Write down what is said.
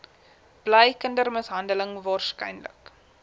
bly kindermishandeling waarskynlik